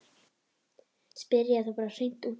Spyrja þá bara hreint út hvað þeir eru að gera.